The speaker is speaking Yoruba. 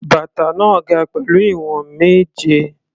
Bàtà náà ga pẹ̀lú ìwọ̀n méje.